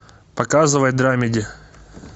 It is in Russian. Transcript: показывай драмеди